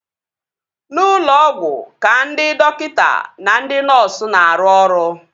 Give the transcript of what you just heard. N'ụlọ ọgwụ ka ndị dọkịta na ndị nọọsu na-arụ ọrụ